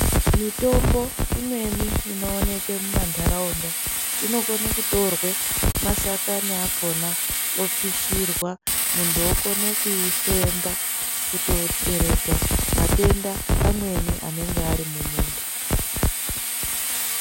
Mitombo imweni ino oneke mu mandaraunda inokone kutorwe mashakani akona opishirwa muntu okone kui femba kuto deredza matenda amweni anenge ari mu muntu.